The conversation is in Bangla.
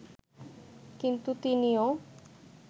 কিন্তু তিনিও